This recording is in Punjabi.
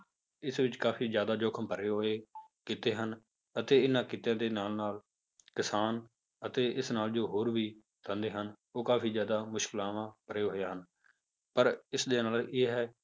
ਇਸ ਵਿੱਚ ਕਾਫ਼ੀ ਜ਼ਿਆਦਾ ਜੋਖਿਮ ਭਰੇ ਹੋਏ ਕਿੱਤੇ ਹਨ ਅਤੇ ਇਹਨਾਂ ਕਿੱਤਿਆਂ ਦੇ ਨਾਲ ਨਾਲ ਕਿਸਾਨ ਅਤੇ ਇਸ ਨਾਲ ਜੋ ਹੋਰ ਵੀ ਧੰਦੇ ਹਨ, ਉਹ ਕਾਫ਼ੀ ਜ਼ਿਆਦਾ ਮੁਸ਼ਕਲਾਵਾਂ ਭਰੇ ਹੋਏ ਹਨ ਪਰ ਇਸਦੇ ਨਾਲ ਇਹ ਹੈ